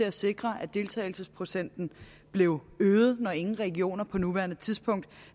at sikre at deltagelsesprocenten blev øget når ingen regioner på nuværende tidspunkt